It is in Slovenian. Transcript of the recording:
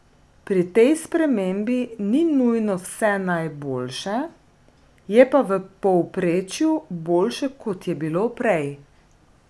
Pri tej spremembi ni nujno vse najboljše, je pa v povprečju boljše kot je bilo prej.